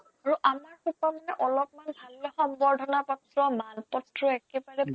আৰু আমাৰ সোপা মানে অলপমান ভাল লোৱা সম্বৰ্ধনা পত্ৰ , মান পত্ৰ একেবাৰে